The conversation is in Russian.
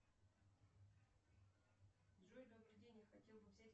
джой добрый день я хотел бы взять